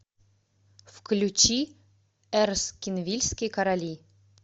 включи эрскинвильские короли